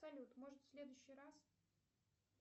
салют может в следующий раз